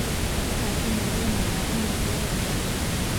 Waxaan u maleynayaa inaad leedahay dhar badan